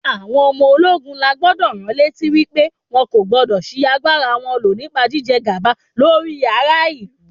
Àwọn ọmọ ológun la gbúdọ̀ ránlétí wípé wọn kò gbúdọ̀ ṣi agbára wọn lò nípa jíjẹ gàba lórí ara ìlú.